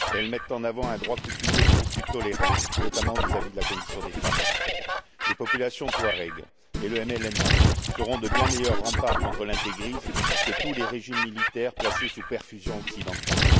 Elles mettent en avant un droit coutumier beaucoup plus tolérant, notamment vis à vis de la condition des femmes. Les populations touaregs et le MLNA seront de bien meilleurs remparts contre l'intégrisme que tous les régimes militaires placés sous perfusion occidentale.